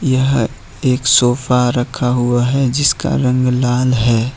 यह एक सोफा रखा हुआ है जिसका रंग लाल है।